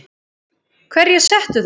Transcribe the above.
Hverjir settu þau?